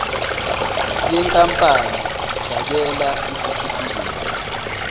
yenkampani fakela isitifikedi